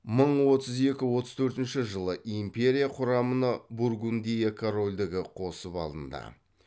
мың отыз екі отыз төртінші жылы ипмерия құрамына бургундия корольдігі қосып алынды